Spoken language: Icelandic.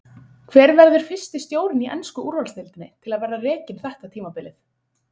Hver verður fyrsti stjórinn í ensku úrvalsdeildinni til að vera rekinn þetta tímabilið?